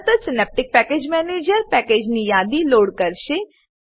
તરતજ Synaptic package manager Synaptic package manager પેકેજની યાદી લોડ કરશે